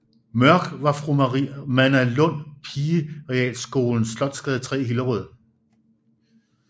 Mørk af fru Manna Lund pigerealskolen Slotsgade 3 i Hillerød